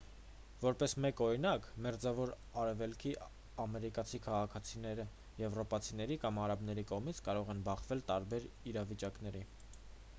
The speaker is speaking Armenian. որպես մեկ օրինակ մերձավոր արևելքի ամերիկացի քաղաքացիները եվրոպացիների կամ արաբների կողմից կարող են բախվել տարբեր իրավիճակների